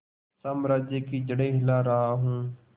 साम्राज्य की जड़ें हिला रहा हूं